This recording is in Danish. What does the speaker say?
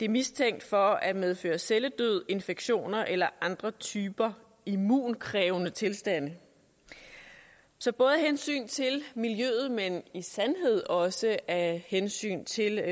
mistænkt for at medføre celledød infektioner eller andre typer immunkrævende tilstande så både af hensyn til miljøet men sandelig også af hensyn til